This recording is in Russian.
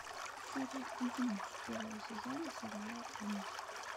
серия одиннадцать первого сезона сериала энн